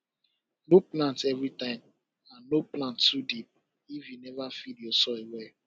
no plant everytime and no plant too deep if you never feed ur soil well